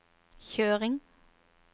kjøring